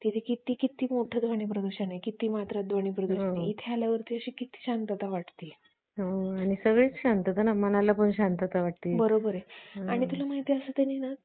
आह ते त्याला घरी आणल्या नंतर पण तो जास्त reaction देत नसतो कोणत्याच गोष्टीची मग reaction देत नसल्यामुळे हम्म त्याला हम्म reaction देत नाही ती त्या नंतर मग काही दिवसांनी reaction पण द्यायला लागतो